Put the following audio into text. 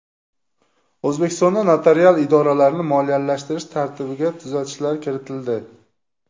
O‘zbekistonda notarial idoralarni moliyalashtirish tartibiga tuzatishlar kiritildi.